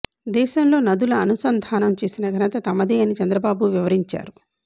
దేశంలో నదుల అనుసంధానం చేసిన ఘనత తమదే అని చంద్రబాబు వివరించారు